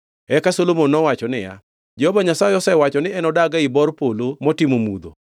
Eka Solomon nowacho niya, “Jehova Nyasaye osewacho ni enodag ei bor polo motimo mudho;